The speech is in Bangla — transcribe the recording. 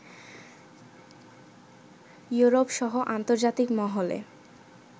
ইউরোপসহ আন্তর্জাতিক মহলে